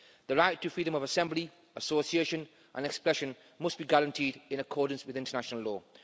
The right to freedom of assembly, association and expression must be guaranteed, in accordance with international law.